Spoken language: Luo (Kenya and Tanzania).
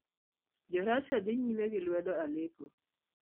Jo Russia Dhi Nyime gi Lwedo Aleppo